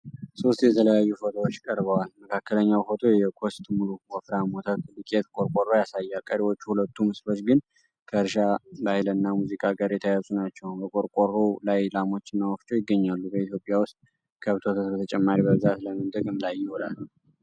ሦስት የተለያዩ ፎቶዎች ቀርበዋል። መካከለኛው ፎቶ የኮስት ሙሉ ወፍራም ወተት ዱቄት ቆርቆሮ ያሳያል። ቀሪዎቹ ሁለቱ ምስሎች ግን ከእርሻ፣ ባህልና ሙዚቃ ጋር የተያያዙ ናቸው። በቆርቆሮው ላይ ላሞችና ወፍጮ ይገኛሉ። በኢትዮጵያ ውስጥ ከብት ወተት በተጨማሪ በብዛት ለምን ጥቅም ላይ ይውላል?